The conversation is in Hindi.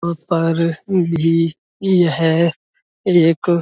यहाँ पर भी यह एक --